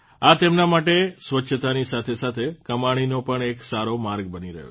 આ તેમના માટે સ્વચ્છતાની સાથે સાથે કમાણીનો પણ એક સારો માર્ગ બની રહ્યો છે